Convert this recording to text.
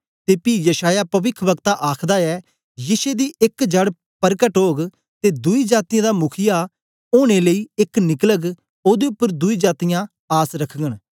ते पी यशायाह पविख्व्कता आखदा ऐ यिशै दी एक जड़ परकट ओग ते दुई जातीयें दा मुखीआ ओनें लेई एक निकलग ओदे उपर दुई जातीयां आस रखगन